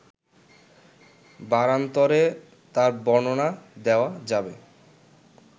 বারান্তরে তার বর্ণনা দেওয়া যাবে